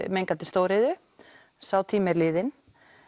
mengandi stóriðju sá tími er liðinn